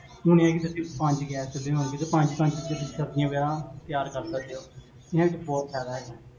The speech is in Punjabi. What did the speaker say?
ਹੁਣ ਇਹ ਹੈ ਕੇ ਤੁਸੀਂ ਪੰਜ ਗੈਸ ਚੁਲ੍ਹੇ, ਜਿਦੋ ਪੰਜ ਪੰਜ ਤੁਸੀਂ ਚੀਜਾਂ ਸਬਜੀਆਂ ਵਗੇਰਾ ਤਿਆਰ ਕਰ ਸਕਦੇ ਹੋ, ਇੰਨਾ ਚ ਬੋਹਤ ਫੈਦਾ ਹੈਗਾ